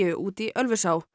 út í Ölfusá